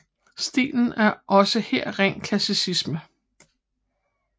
Stilen er også her ren klassicisme